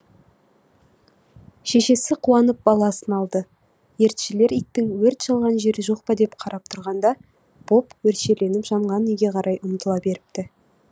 шешесі қуанып баласын алды өртшілер иттің өрт шалған жері жоқ па деп қарап тұрғанда боб өршеленіп жанған үйге қарай тағы ұмтыла беріпті